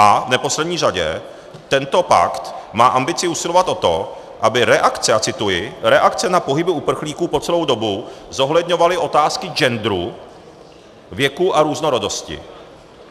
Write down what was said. A v neposlední řadě, tento pakt má ambici usilovat o to, aby reakce - a cituji - "reakce na pohyby uprchlíků po celou dobu zohledňovaly otázky genderu, věku a různorodosti."